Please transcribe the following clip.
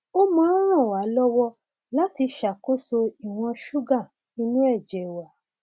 ó máa ń ràn wá lọwọ láti ṣàkóso ìwọn ṣúgà inú ẹjẹ wa